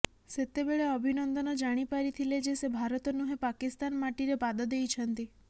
ସେତେବେଳେ ଅଭିନନ୍ଦନ ଜାଣି ପାରିଥିଲେ ଯେ ସେ ଭାରତ ନୁହେଁ ପାକିସ୍ତାନ ମାଟିରେ ପାଦ ଦେଇଛନ୍ତି